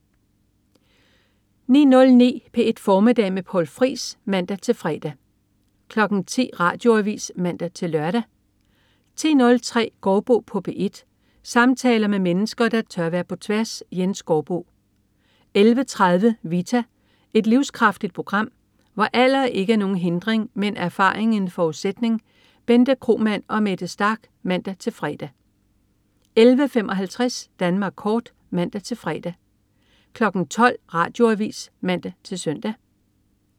09.09 P1 Formiddag med Poul Friis (man-fre) 10.00 Radioavis (man-lør) 10.03 Gaardbo på P1. Samtaler med mennesker, der tør være på tværs. Jens Gaardbo 11.30 Vita. Et livskraftigt program, hvor alder ikke er nogen hindring, men erfaring en forudsætning. Bente Kromann og Mette Starch (man-fre) 11.55 Danmark kort (man-fre) 12.00 Radioavis (man-søn)